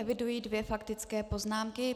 Eviduji dvě faktické poznámky.